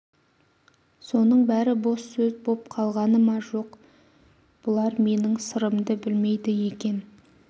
соның бәрі бос сөз боп қалғаны ма жоқ бұлар менің сырымды білмейді екен